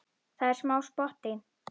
Það er smá spotti.